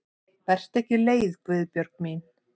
Vertu ekki leið Guðbjörg mín.